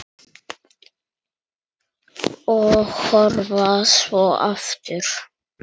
Og horfa svo aftur.